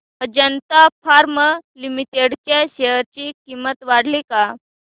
Ajanta Pharma Limited च्या share ची किंमत वाढली का